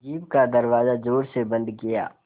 jeep का दरवाज़ा ज़ोर से बंद किया